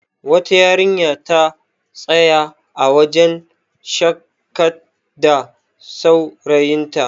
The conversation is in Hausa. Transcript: wata yarinya ta tsaya a wajen shakatda saurayinta